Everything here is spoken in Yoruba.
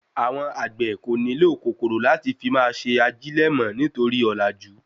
Awon àgbè ko ni nílò kòkòrò láti máa fi ṣe ajilẹ mọ nítorí òlàjú